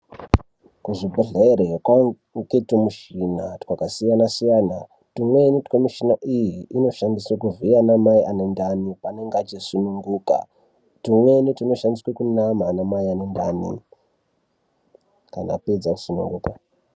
Kuzvibhedhlera kwakuwanikwa tumishina twakasiyana siyana twumweni temishina iyi twunoshandiswa kuvhiya ana mai anenge ane ndani anenge achisununguka twumweni twunoshandiswa kunama ana mai anenge ane mimba kana apedza kusununguka.